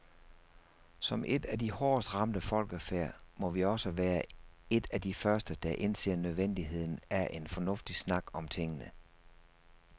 Som et af de hårdest ramte folkefærd, må vi også være et af de første, der indser nødvendigheden af en fornuftig snak om tingene.